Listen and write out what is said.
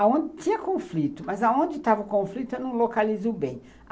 Onde tinha conflito, mas onde estava o conflito, eu não localizo bem.